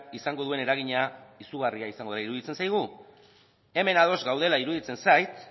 izango duen eragina izugarria izango dela iruditzen zaigu hemen ados gaudela iruditzen zait